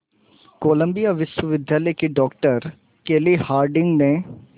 Colombia विश्वविद्यालय की doctor Kelly Harding ने